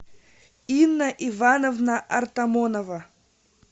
инна ивановна артамонова